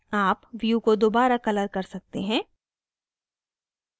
आप view को दोबारा colour कर सकते हैं